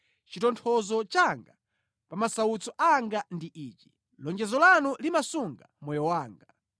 Chitonthozo changa pa masautso anga ndi ichi: lonjezo lanu limasunga moyo wanga.